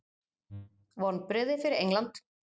Vonbrigði fyrir England.